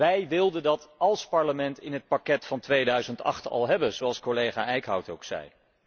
Wij wilden dat als Parlement in het pakket van 2008 al hebben, zoals collega Eickhout ook zei.